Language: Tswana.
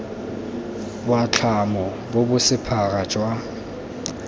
boatlhamo bo bo sephara jwa